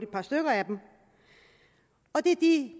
par stykker af og det er de